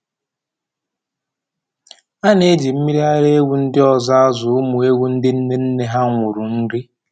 A na-eji mmiri ara ewu ndị ọzọ azụ ụmụ ewu ndị nne nne ha nwụrụ nri